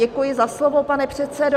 Děkuji za slovo, pane předsedo.